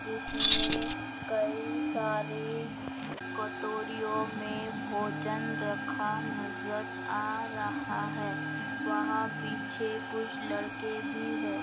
जिसमें कई सारे कटोरियों में भोजन रखा नजर आ रहा है वहाँ पीछे कुछ लड़के भी हैं।